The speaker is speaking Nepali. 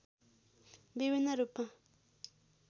विभिन्न रूपमा